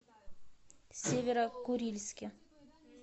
северо курильске